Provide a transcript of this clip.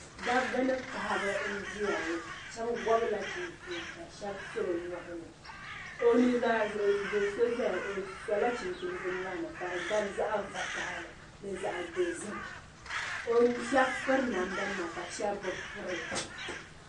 Dabi ni paɣaba nʒiya ŋɔ. shabi gobila chinchina la shabi so bi nyɔɣini. ɔnuzaa zuɣu do so ʒɛya ɔ sola chinchini ɔ nyɔɣini, ka di gabi zaɣi vakahili, zaɣi dozim. shabi piri namdanima ka shabi bɛ piri